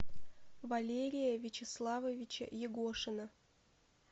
валерия вячеславовича егошина